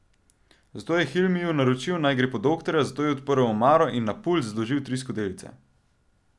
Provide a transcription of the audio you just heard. Zato je Hilmiju naročil, naj gre po doktorja, zato je odprl omaro in na pult zložil tri skodelice.